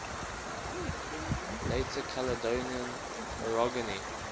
later caledonian orogeny